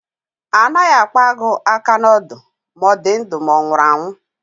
A naghị akpa agụ aka n'ọdụ, ma ọ dị ndụ ma ọ nwụrụ anwu